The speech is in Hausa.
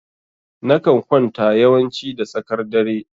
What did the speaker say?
Na kan kwanta yawanci da tsakar dare.